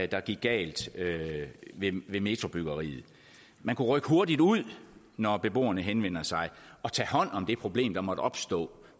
der gik galt ved metrobyggeriet man kunne rykke hurtigt ud når beboerne henvender sig og tage hånd om det problem der måtte opstå